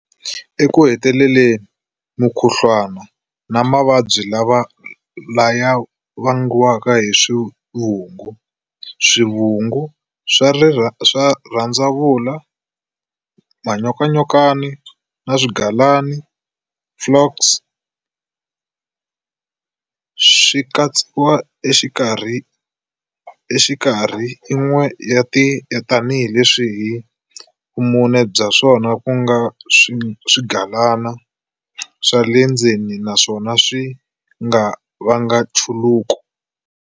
Eku heteleleni, mukhuhluwana na mavabyi laya vangiwaka hi swivungu, swivungu swa rhandzavula, manyokanyokana na swigalana, flukes, swi katsiwa exikarhi yin'we tanihi leswi hi vumune bya swona ku nga swigalana swa le ndzeni naswona swi nga vanga nchuluko.